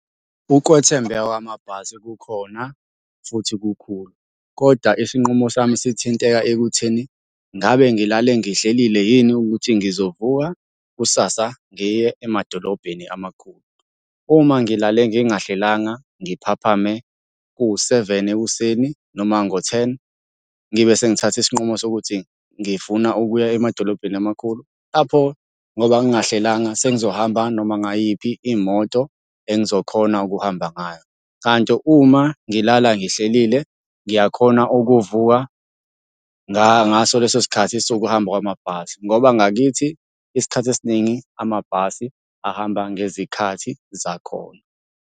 Ukwethembeka kwamabhasi kukhona, futhi kukhulu, kodwa isinqumo sami sithinteka ekutheni, ngabe ngilale ngihlelile yini ukuthi ngizovuka kusasa ngiye emadolobheni amakhulu. Uma ngilale ngingahlelanga ngiphaphame kuwu-seven ekuseni noma ngo-ten, ngibe sengithatha isinqumo sokuthi ngifuna ukuya emadolobheni amakhulu, lapho ngoba ngingahlelanga sengizohamba noma ngayiphi imoto engizokhona ukuhamba ngayo. Kanti uma ngilala ngihlelile, ngiyakhona ukuvuka ngaso leso sikhathi sokuhamba kwamabhasi, ngoba ngakithi isikhathi esiningi amabhasi ahamba ngezikhathi zakhona.